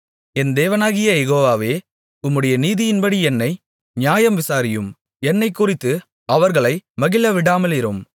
என் தேவனாகிய யெகோவாவே உம்முடைய நீதியின்படி என்னை நியாயம் விசாரியும் என்னைக்குறித்து அவர்களை மகிழவிடாமலிரும்